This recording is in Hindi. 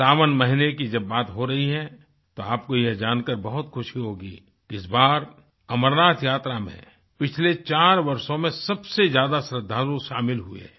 सावन महीने की जब बात हो रही है तो आपको यह जानकर बहुत खुशी होगी कि इस बार अमरनाथ यात्रा में पिछले चार वर्षों में सबसे ज़्यादा श्रद्धालु शामिल हुए हैं